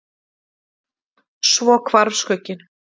Svo hvarf skugginn.